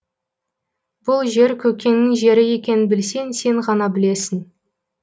бұл жер көкеннің жері екенін білсең сен ғана білесің